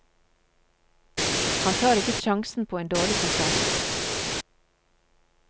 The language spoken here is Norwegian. Han tar ikke sjansen på en dårlig konsert.